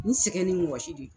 N sɛgɛn ni wɔsi de don.